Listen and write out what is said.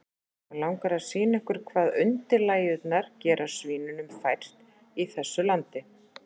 Mig langar að sýna ykkur hvað undirlægjurnar gera svínunum fært í þessu landi.